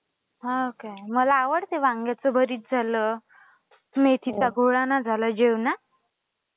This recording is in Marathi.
हो काय? मला आवडतं वांग्याचं भरीत झालं, मेथीचा घोळाना झाला जेवणात.